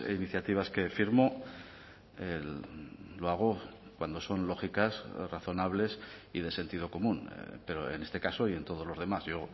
iniciativas que firmo lo hago cuando son lógicas razonables y de sentido común pero en este caso y en todos los demás yo